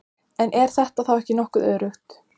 En er þetta þá ekki nokkuð öruggt?